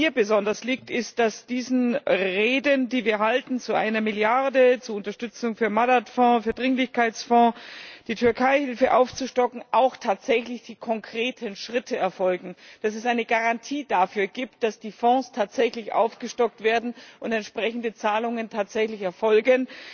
Woran mir besonders liegt, ist, dass diesen Reden, die wir halten zu einer Milliarde zur Unterstützung für den Madad Fonds, für den Dringlichkeitsfonds, um die Türkeihilfe aufzustocken auch tatsächlich konkrete Schritte folgen, dass es eine Garantie dafür gibt, dass die Fonds tatsächlich aufgestockt werden und entsprechende Zahlungen tatsächlich erfolgen,